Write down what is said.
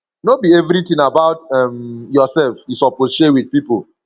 no be everytin about um yoursef you suppose share wit pipo